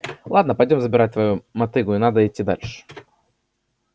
ладно пойдём забирать твою мотыгу и надо идти дальше